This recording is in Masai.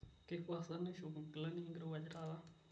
keifaa sa naishop nkilani enkirowuaj taata